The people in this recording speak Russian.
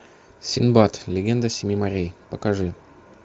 синдбад легенда семи морей покажи